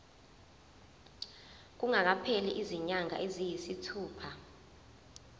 kungakapheli izinyanga eziyisithupha